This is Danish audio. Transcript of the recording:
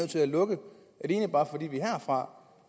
til at lukke bare fordi vi herfra